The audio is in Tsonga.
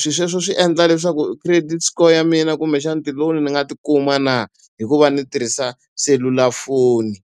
swilo sweswo swi endla leswaku credit score ya mina kumbexana ti-loan ni nga ti kuma na hi ku va ni tirhisa selulafoni?